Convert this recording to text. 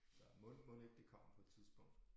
Mon mon ikke det kommer på et tidspunkt